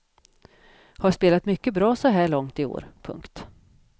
Har spelat mycket bra så här långt i år. punkt